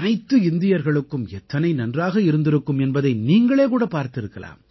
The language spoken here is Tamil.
அனைத்து இந்தியர்களுக்கும் எத்தனை நன்றாக இருந்திருக்கும் என்பதை நீங்களே கூடப் பார்த்திருக்கலாம்